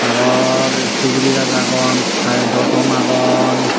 aro suguri gaj agon currento thom agon.